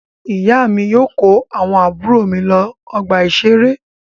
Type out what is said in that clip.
Ìyá mi yóò kó àwọn àbúrò mi lọ ọgbà-ìṣeré.